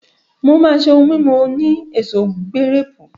Maa se ohun mimu oni eso girepu.